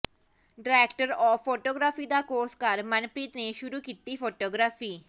director of photography ਦਾ course ਕਰ ਮਨਪ੍ਰੀਤ ਨੇ ਸ਼ੁਰੂ ਕੀਤੀ ਫੋਟੋਗ੍ਰਾਫੀ